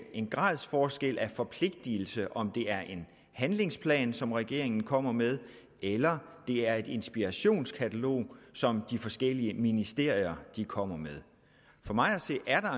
en gradsforskel af forpligtelse i om det er en handlingsplan som regeringen kommer med eller det er et inspirationskatalog som de forskellige ministerier kommer med for mig at se er